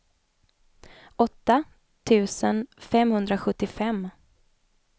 åtta tusen femhundrasjuttiofem